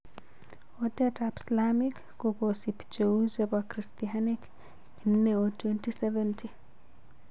Otet ap slamik kokosip cheu chepo christanik en ne o 2070